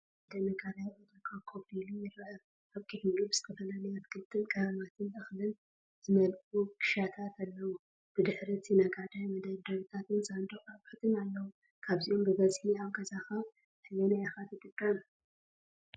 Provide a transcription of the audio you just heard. ሓደ ነጋዳይ ኣብ ዕዳጋ ኮፍ ኢሉ ይርአ። ኣብ ቅድሚኡ ብዝተፈላለዩ ኣትክልቲ፣ ቀመማትን እኽልን ዝመልኡ ክሻታት ኣለዉ፤ ብድሕሪ እቲ ነጋዳይ መደርደሪታትን ሳንዱቕ ኣቑሑትን ኣለዉ። ካብዞም ብብዝሒ ኣብ ገዛኻ ኣየናይ ኢኻ ትጥቀም?